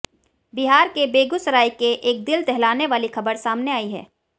बिहार के बेगूसराय के एक दिल दहलाने वाली खबर सामने आई है